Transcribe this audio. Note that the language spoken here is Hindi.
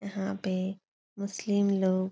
यहाँ पे मुस्लिम लोग --